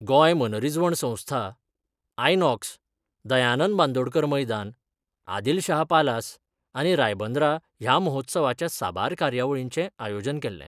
गोंय मनरीजवण संस्था, आयनॉक्स, दयानंद बांदोडकर मैदान, आदिल शाह पालास आनी रायबंदरा या महोत्सवाच्या साबार कार्यावळींचे आयोजन केल्ले.